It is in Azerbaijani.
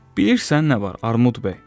Bilirsən nə var, Armud bəy?